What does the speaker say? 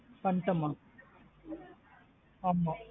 பண்டேன் மா ஆமா.